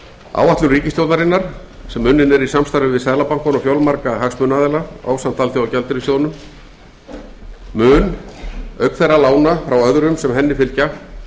áætlun ríkisstjórnarinnar sem unnin er í samstarfi við seðlabankann og fjölmarga hagsmunaaðila ásamt alþjóðagjaldeyrissjóðnum mun auk lána frá öðrum sem henni fylgja